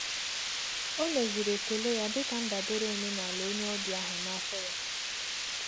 O meziri ekele ya dịka ndabere omenala onye ọbịa ahụ na afọ ya.